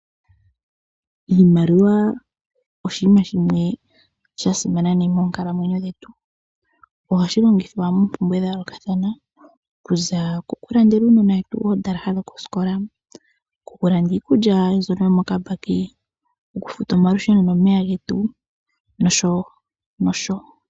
Iimaliwa oshinima shimwe sha simana nayi moonkalamwenyo dhetu. Ohashi longithwa moompumbwe dha yoolokathana okuza kokulandele uunona wetu oondalaha dhokosikola, koku landa iikulya mbyono yomokabaki, okufuta omalusheno nomeya getu nosho nosho.